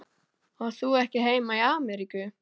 Átt þú ekki heima í Ameríku?